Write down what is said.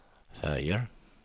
färger